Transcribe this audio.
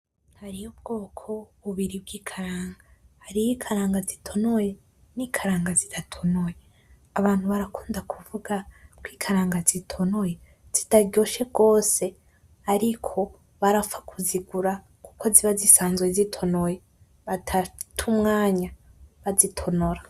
Hariho ubwoko bubiri bw'ikaranga, hariyo ikaranga zitonoye n'ikaranga zidatonoye. Abantu barakunda kuvuga ko ikaranga zitonoye zitaryoshe gose ariko barapfa kuzigura kuko ziba zisanzwe zitonoye badata umwanya bazitonora.